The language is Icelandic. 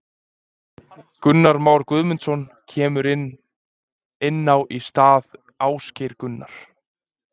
Gunnar Már Guðmundsson kemur inn á í stað Ásgeir Gunnar.